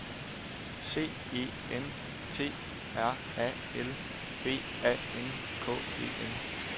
C E N T R A L B A N K E N